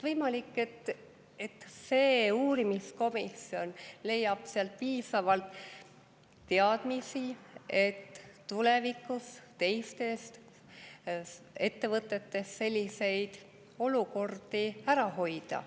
Võimalik, et see uurimiskomisjon leiab piisavalt teadmisi, et tulevikus teistes ettevõtetes selliseid olukordi ära hoida.